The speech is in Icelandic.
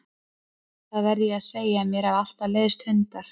Það verð ég að segja að mér hafa alltaf leiðst hundar.